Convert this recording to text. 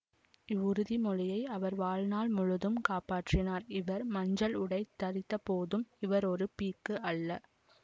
இவ்வுறுதி மொழியை அவர் வாழ்நாள் முழுதும் காப்பாற்றினார் இவர் மஞ்சள் உடை தரித்தபோதும் இவர் ஒரு பீக்கு அல்ல